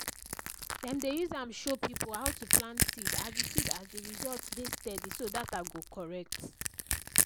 dem dey use am show people how to plant seed as the seed as the result dey steady so data go correct.